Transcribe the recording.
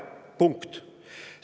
" Punkt!